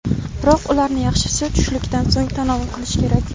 Biroq ularni yaxshisi tushlikdan so‘ng tanovul qilish kerak.